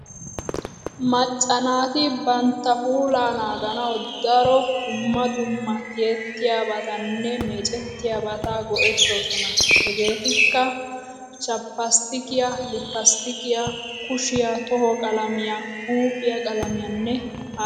Macca naati bantta puulaa naaganawu daro dumma dumma tiyettiyobatanne meecetttiyobata go'ettoosona. Hegeetikka:- chappasttikiya, lippisttikiya, kushiya tohaa qalamiya huuphiya qalamiyanne hara harabata.